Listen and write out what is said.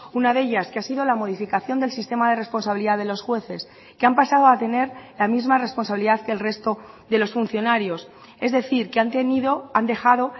una de ellas que ha sido la modificación del sistema de responsabilidad de los jueces que han pasado a tener la misma responsabilidad que el resto de los funcionarios es decir que han tenido han dejado